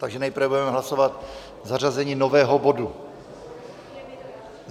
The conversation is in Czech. Takže nejprve budeme hlasovat zařazení nového bodu.